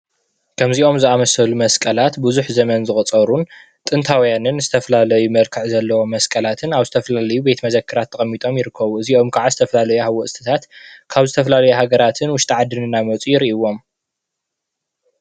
ከምዚኦም ዝኣመሰሉ መስቀላት ብዙሕ ዘመን ዘቑፀሩን ጥንታውያንን ዝተፈላለየ መልክዕ ዘለዎም መስቀላትን ኣብ ዝተፈላለዩ መዘክራት ተቐሚጦም ይርከቡ። እዚኦም ኻዓ ዝተፈላለዩ ሃወፅትታት ካብ ዝፈላለዩ ሃገራትን ውሽጢ ዓድን እናመፁ ይርእይዎም።